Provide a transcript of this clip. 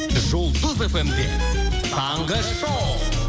жұлдыз фм де таңғы шоу